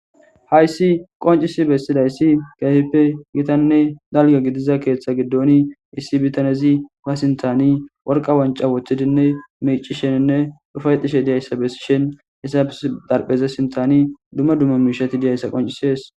hayssi qoncisi bessidayssi gaefippe gitanne dalga gidiza keeththa giddoni issi bitanezi ba sintani worqa wanca woththidinne mici sheninne dhufayxishe diyayssa bessi shin issa e darpheza sintani dumma dumma miishati diyayssa qoncisees